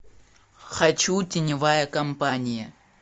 хочу теневая компания